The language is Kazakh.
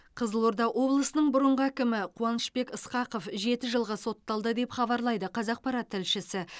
қызылорда облысының бұрынғы әкімі қуанышбек ысқақов жеті жылға сотталды деп хабарлайды қазақпарат тілшісі